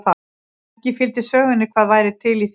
Ekki fylgdi sögunni hvað væri til í því.